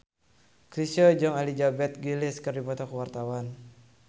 Chrisye jeung Elizabeth Gillies keur dipoto ku wartawan